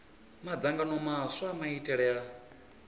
madzangano maswa a maitele a